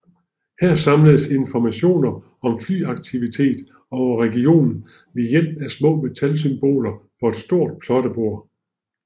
Her samledes informationer om flyaktivitet over regionen ved hjælp af små metalsymboler på et stort plottebord